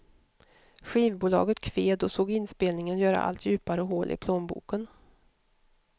Skivbolaget kved och såg inspelningen göra allt djupare hål i plånboken.